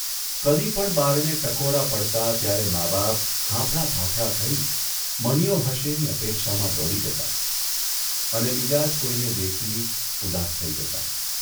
કદી પણ બારણે ટકોરા પડતા ત્યારે મા બાપ હાંફળા, ફાંફળા થઇ 'મનીયો હશે' ની અપેક્ષામાં દોડી જતાં, અને બીજા જ કોઇને દેખી ઉદાસ થઇ જતાં.